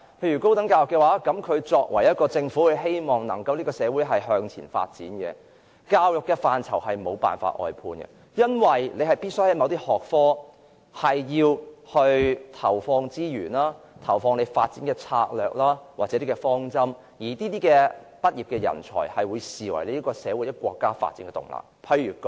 以高等教育為例，如果政府希望社會能夠發展，教育範疇便不會出現外判的情況，因為某些學科必須投放資源，訂定發展策略或方針，畢業生也會被視為社會或國家發展的動力。